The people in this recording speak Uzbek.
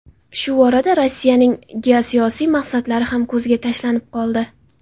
Shu orada Rossiyaning geosiyosiy maqsadlari ham ko‘zga tashlanib qoldi.